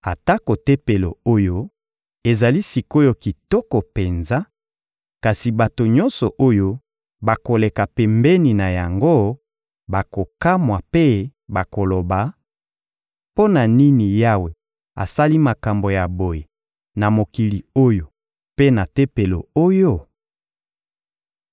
Atako Tempelo oyo ezali sik’oyo kitoko penza, kasi bato nyonso oyo bakoleka pembeni na yango bakokamwa mpe bakoloba: «Mpo na nini Yawe asali makambo ya boye na mokili oyo mpe na Tempelo oyo?»